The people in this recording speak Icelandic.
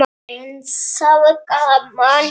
En það var gaman.